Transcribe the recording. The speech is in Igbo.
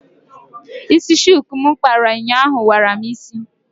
Ísí shuku m kpara ụnyaahụ wara m ísí.